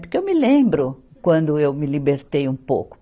Porque eu me lembro quando eu me libertei um pouco.